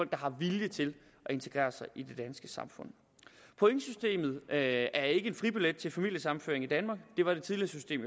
der har vilje til at integrere sig i det danske samfund pointsystemet er ikke en fribillet til familiesammenføring i danmark det var det tidligere system